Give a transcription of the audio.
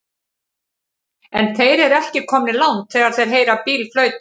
En þeir eru ekki komnir langt þegar þeir heyra bíl flauta.